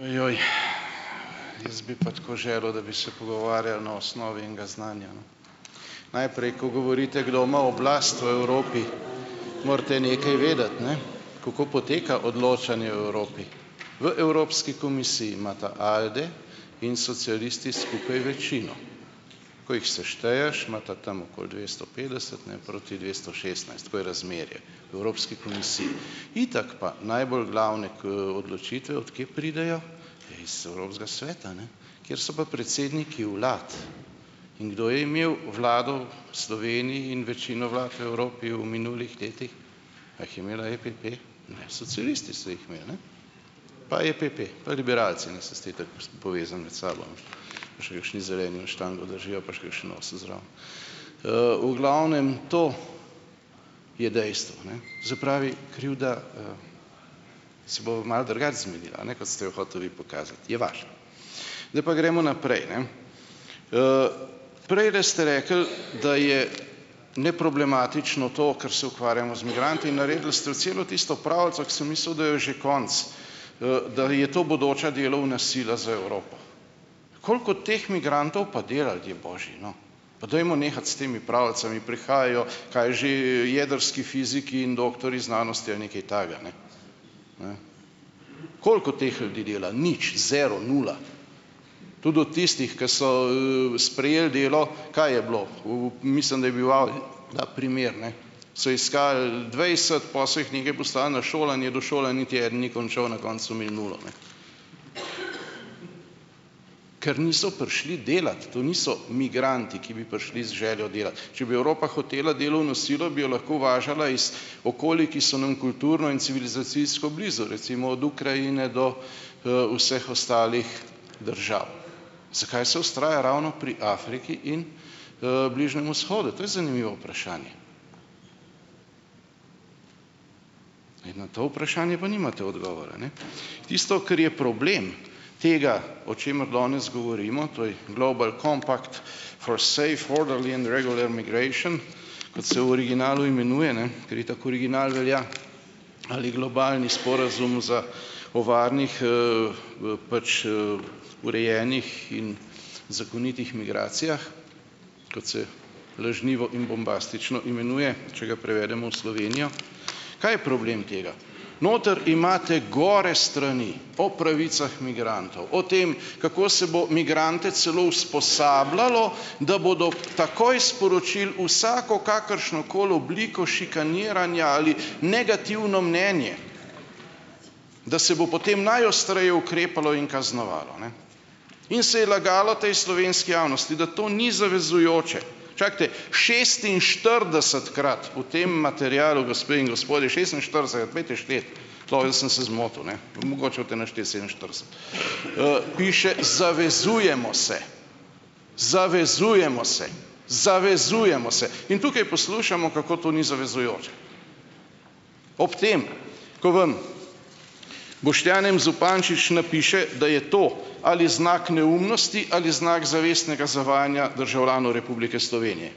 Ojoj, jaz bi pa tako želel, da bi se pogovarjali na osnovi enega znanja, ne. Najprej, ko govorite, kdo ima oblast v Evropi, morate nekaj vedeti, ne, kako poteka odločanje v Evropi. V Evropski komisiji imata Alde in socialisti skupaj večino. Ko jih sešteješ, imata tam okoli dvesto petdeset, ne, proti dvesto šestnajst to je razmerje v Evropski komisiji. Itak pa, najbolj glavne odločitve, od kje pridejo? Ja, iz Evropskega sveta, ne, kjer so pa predsedniki vlad. In kdo je imel vlado v Sloveniji in večino vlad v Evropi v minulih letih? A jih je imela EPP? Ne, socialisti so jih imeli, ne, pa EPP, pa liberalci, ne. Saj ste itak povezani med sabo. Pa še kakšni zeleni vam "štango" držijo, pa še kakšno nosijo zraven. V glavnem, to je dejstvo, ne. To se pravi, krivda, se bova malo drugače zmenila, ne, kot ste jo hotel vi pokazati, je vaša. Zdaj pa gremo naprej, ne. Prejle ste rekli, da je neproblematično to, ker se ukvarjamo z migranti in naredili ste celo tisto pravljico, ko sem mislil, da jo je že konec, da je to bodoča delovna sila za Evropo. Koliko teh migrantov pa dela, ljudje božji, no? Pa dajmo nehati s temi pravljicami. Prihajajo, kaj že, jedrski fiziki in doktorji znanosti ali nekaj takega, ne, ne? Koliko teh ljudi dela? Nič, "zero", nula. Tudi od tistih, ki so, sprejeli delo, kaj je bilo? V, mislim, da je bil, ta primer, ne, so iskali dvajset, pol so jih nekaj poslali na šolanje, do šole niti eden ni končal, na koncu so imeli nulo, ne. Ker niso prišli delat. To niso migranti, ki bi prišli z željo delati. Če bi Evropa hotela delovno silo, bi jo lahko uvažala iz okolij, ki so nam kulturno in civilizacijsko blizu, recimo od Ukrajine do, vseh ostalih držav. Zakaj se vztraja ravno pri Afriki in, Bližnjem vzhodu? To je zanimivo vprašanje. In na to vprašanje pa nimate odgovora, ne. Tisto, kar je problem tega, o čemer danes govorimo, to je "global compact for sef orderly and regular migration", kot se v originalu imenuje, ne, ker itak original velja, ali globalni sporazum za o varnih, pač, urejenih in zakonitih migracijah, kot se lažnivo in bombastično imenuje, če ga prevedemo v Slovenijo, kaj je problem tega? Noter imate gore strani, o pravicah migrantov, o tem, kako se bo migrante celo usposabljalo, da bodo takoj sporočili vsako kakršnokoli obliko šikaniranja ali negativno mnenje, da se bo potem najostreje ukrepalo in kaznovalo, ne, in se je lagalo tej slovenski javnosti, da to ni zavezujoče. Čakajte, šestinštiridesetkrat v tem materialu, gospe in gospodje, šestinštiridesetkrat, pojdite štet, lahko da sem se zmotil, ne, mogoče boste našteli sedeminštirideset, piše: "Zavezujemo se." Zavezujemo se. Zavezujemo se. In tukaj poslušamo, kako to ni zavezujoče. Ob tem, ko vam Boštjan M. Zupančič napiše, da je to ali znak neumnosti ali znak zavestnega zavajanja državljanov Republike Slovenije,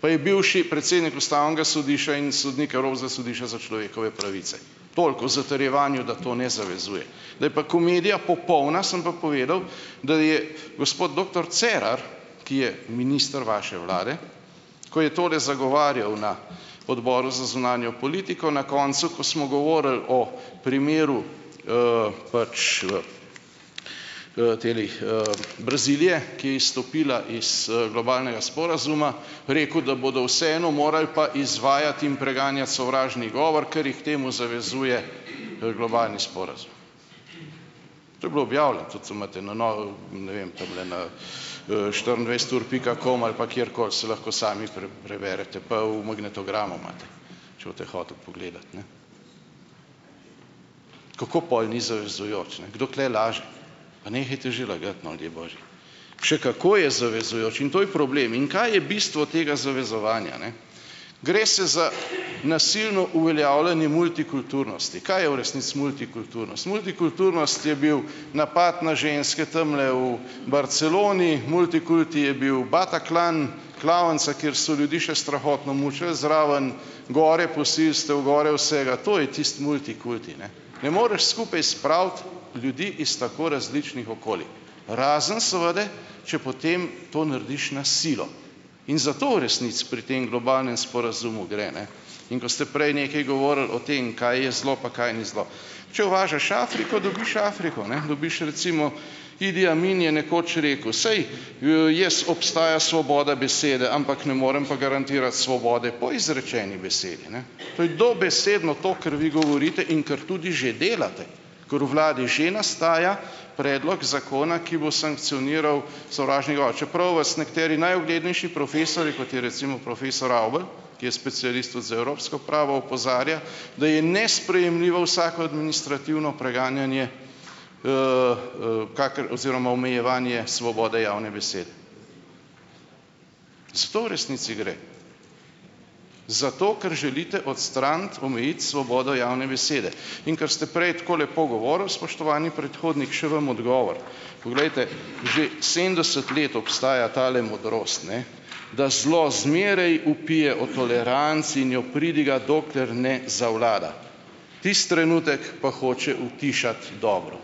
pa je bivši predsednik ustavnega sodišča in sodnik Evropskega sodišča za človekove pravice. Toliko o zatrjevanju, da to ne zavezuje. Da je pa komedija popolna, sem pa povedal, da je gospod doktor Cerar, ki je minister vaše vlade, ko je tole zagovarjal na odboru za zunanjo politiko na koncu, ko smo govorili o primeru, pač, teh, Brazilije, ki je izstopila iz, globalnega sporazuma, rekel, da bodo vseeno moral pa izvajati in preganjati sovražni govor, ker jih k temu zavezuje, globalni sporazum. To je bilo objavljeno, tudi imate na ne vem, tamle na, štiriindvajset ur pika com, ali pa kjerkoli, saj lahko sami preberete pa v magnetogramu imate, če boste hoteli pogledati, ne. Kako pol ni zavezujoč, ne? Kdo tule laže? Pa nehajte že lagati, no, ljudje božji. Še kako je zavezujoč! In to je problem. In kaj je bistvo tega zavezovanja, ne? Gre se za nasilno uveljavljane multikulturnosti. Kaj je v resnici multikulturnost? Multikulturnost je bil napad na ženske tamle u Barceloni, multikulti je bil Bataclan, klavnica, kjer so ljudi še strahotno mučili zraven, gore posilstev, gore vsega. To je tisto multikulti, ne. Ne moreš skupaj spraviti ljudi iz tako različnih okolij, razen seveda, če potem to narediš na silo. In za to v resnici pri tem globalnem sporazumu gre, ne. In ko ste prej nekaj govorili o tem, kaj je zelo pa kaj ni zelo; če uvažaš Afriko, dobiš Afriko, ne, dobiš recimo, Idi Amin je nekoč rekel: "Saj, jaz obstaja svoboda besede, ampak ne morem pa garantirati svobode po izrečeni besedi, ne." To je dobesedno to, kar vi govorite in kar tudi že delate, ker v vladi že nastaja predlog zakona, ki bo sankcioniral sovražni govor, čeprav vas nekateri najuglednejši profesorji, kot je recimo profesor Avbelj, ki je specialist tudi za evropsko pravo, opozarja, da je nesprejemljivo vsako administrativno preganjanje, oziroma omejevanje svobode javne besede. Za to v resnici gre. Zato, ker želite odstraniti, omejiti svobodo javne besede. In ker ste prej tako lepo govorili, spoštovani predhodnik, še vam odgovor. Poglejte, že sedemdeset let obstaja tale modrost, ne, da zelo zmeraj vpije o toleranci in jo pridiga, dokler ne zavlada. Tisti trenutek pa hoče utišati dobro.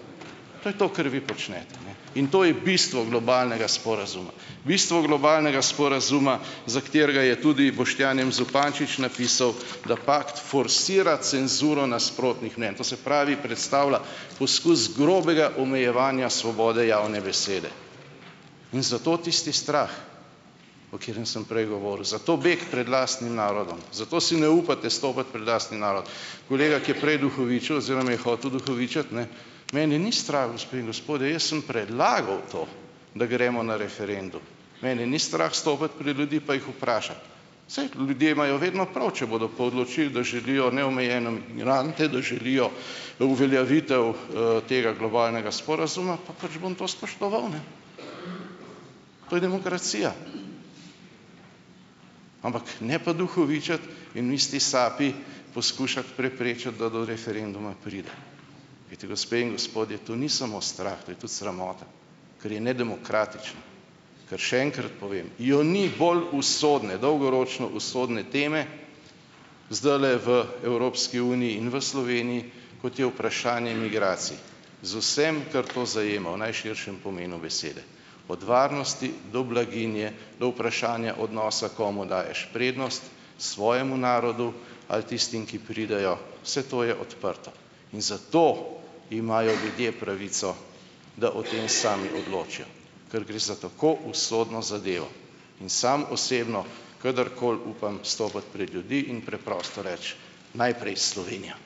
To je to, kar vi počnete, ne, in to je bistvo globalnega sporazuma. Bistvo globalnega sporazuma za katerega je tudi Boštjan M. Zupančič napisal, da pakt forsira cenzuro nasprotnih mnenj, to se pravi, predstavlja poskus grobega omejevanja svobode javne besede in zato tisti strah, o katerem sem prej govoril. Zato beg pred lastnim narodom. Zato si ne upate stopiti pred lastni narod. Kolega, ki je prej duhovičil oziroma je hotel duhovičiti, ne - mene ni strah, gospe in gospodje, jaz sem predlagal to, da gremo na referendum. Mene ni strah stopiti pred ljudi pa jih vprašati. Saj ljudje imajo vedno prav, če bodo pa odločili, da želijo neomejeno migrante, da želijo uveljavitev, tega globalnega sporazuma, pa pač bom to spoštoval, ne. To je demokracija. Ampak ne pa duhovičiti in v isti sapi poskušati preprečiti, da do referenduma pride. Glejte, gospe in gospodje, to ni samo strah, to je tudi sramota, ker je nedemokratično. Ker še enkrat povem: je ni bolj usodne, dolgoročno usodne teme zdajle v Evropski uniji in v Sloveniji, kot je vprašanje migracij. Z vsem, kar to zajema v najširšem pomenu besede. Od varnosti do blaginje, do vprašanja odnosa, komu daješ prednost, svojemu narodu, ali tistim, ki pridejo. Vse to je odprto. In zato imajo ljudje pravico da o tem sami odločijo, ker gre za tako usodno zadevo in sam osebno kadarkoli upam stopiti pred ljudi in preprosto reči: "Najprej Slovenija!"